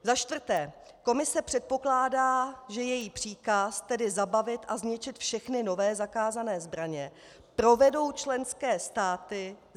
Za čtvrté, Komise předpokládá, že její příkaz, tedy zabavit a zničit všechny nové zakázané zbraně, provedou členské státy.